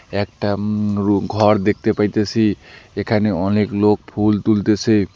একটা উম রু ঘর দেখতে পাইতেসি এখানে অনেক লোক ফুল তুলতেসে।